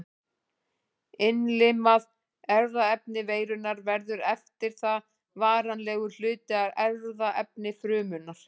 Innlimað erfðaefni veirunnar verður eftir það varanlegur hluti af erfðaefni frumunnar.